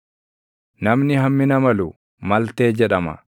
Namni hammina malu, “Maltee” jedhama.